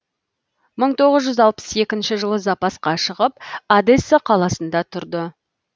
мың тоғыз жүз алпыс екінші жылы запасқа шығып одесса қаласында тұрды